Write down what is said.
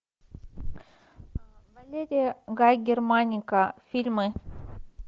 валерия гай германика фильмы